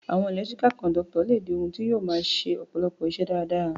Àwon electrical connector le di oun ti yio ma se ọ̀pọ̀lọpọ̀ isẹ́ dáradára